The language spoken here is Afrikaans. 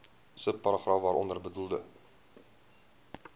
subparagraaf waaronder bedoelde